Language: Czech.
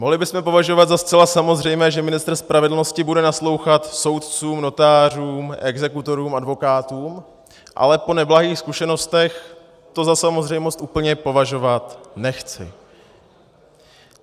Mohli bychom považovat za zcela samozřejmé, že ministr spravedlnosti bude naslouchat soudcům, notářům, exekutorům, advokátům, ale po neblahých zkušenostech to za samozřejmost úplně považovat nechci.